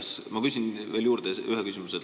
Ja ma küsin veel ühe küsimuse.